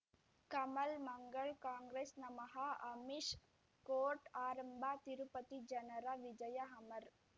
ಕಮಲ್ ಮಂಗಳ್ ಕಾಂಗ್ರೆಸ್ ನಮಃ ಅಮಿಷ್ ಕೋರ್ಟ್ ಆರಂಭ ತಿರುಪತಿ ಜನರ ವಿಜಯ ಅಮರ್